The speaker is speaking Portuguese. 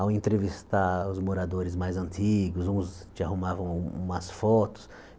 ao entrevistar os moradores mais antigos, uns te arrumavam umas fotos.